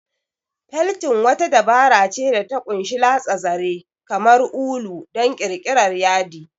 Feltin wata dabara ce da ta ƙunshi latsa zare, kamar ulu, don ƙirƙirar yadi.